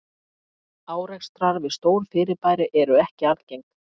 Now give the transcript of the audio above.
Árekstrar við stór fyrirbæri eru ekki algeng.